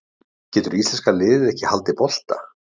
Getur íslenska liðið ekki haldið bolta?